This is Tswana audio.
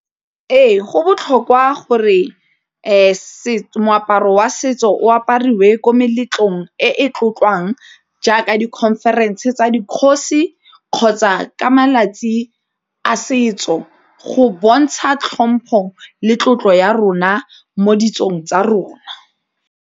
Ee go botlhokwa gore moaparo wa setso o apariwe ko meletlong e e tlotlewang jaaka di-conference tsa dikgosi kgotsa ka malatsi a setso go bontsha tlhompho le tlotlo ya rona mo ditsong tsa rona.